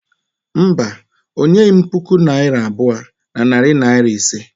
Mba, o nyeghị m puku naira abụọ na narị naịra iri ise.